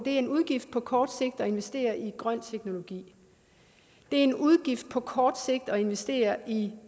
en udgift på kort sigt at investere i grøn teknologi det er en udgift på kort sigt at investere i